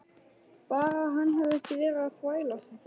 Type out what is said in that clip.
Bara að hann hefði ekki verið að þvælast þetta.